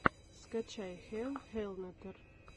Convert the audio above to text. скачай хелл хеллнетер